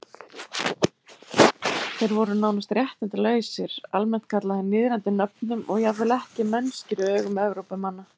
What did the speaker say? Þeir voru nánast réttindalausir, almennt kallaðir niðrandi nöfnum og jafnvel ekki mennskir í augum Evrópumanna.